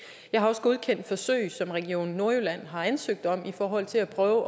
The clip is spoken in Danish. jeg har også godkendt forsøg som region nordjylland har ansøgt om i forhold til at prøve